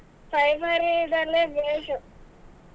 Primary ದಲ್ಲಿ ಬೇಕು.